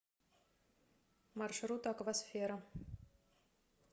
маршрут аквасфера